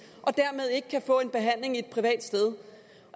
og dermed ikke kan få en behandling et privat sted